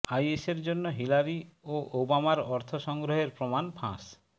আইএসের জন্য হিলারি ও ওবামার অর্থ সংগ্রহের প্রমাণ ফাঁস